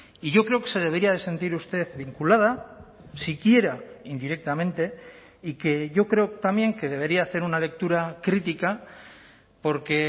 y yo creo que se debería de sentir usted vinculada siquiera indirectamente y que yo creo también que debería hacer una lectura crítica porque